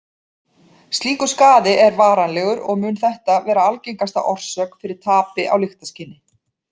Slíkur skaði er varanlegur og mun þetta vera algengasta orsök fyrir tapi á lyktarskyni.